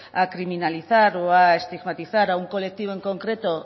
a criminalizar o a estigmatizar a un colectivo en concreto